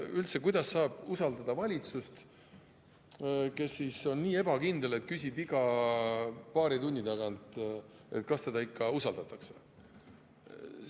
Üldse, kuidas saab usaldada valitsust, kes on nii ebakindel, et küsib iga paari tunni tagant, kas teda ikka usaldatakse?